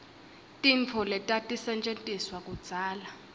tintfo letatisetjentiswa kudzala